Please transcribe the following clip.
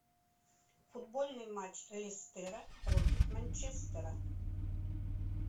футбольный матч лестера против манчестера